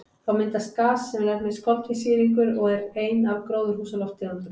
Þá myndast gas sem nefnist koltvísýringur og er ein af gróðurhúsalofttegundunum.